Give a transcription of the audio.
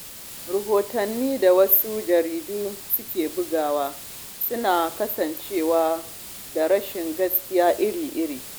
Rahotannin da wasu jaridun suke bugawa suna ƙunshe da rashin gaskiya iri-iri.